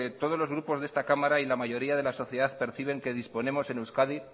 todos los grupos de esta cámara y la mayoría de la sociedad perciben que disponemos en euskadi